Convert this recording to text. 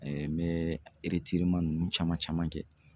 n bɛ ninnu caman caman kɛ